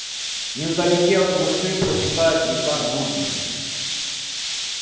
не в далеке от москвы протекает река дубна